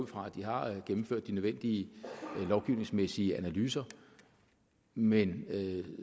fra de har gennemført de nødvendige lovgivningsmæssige analyser men